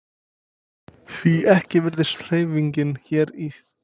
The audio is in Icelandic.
Því ekki virðist hreyfingin hérna í þingsölum?